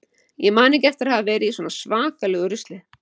Ég man ekki eftir að hafa verið í svona svakalegu rusli.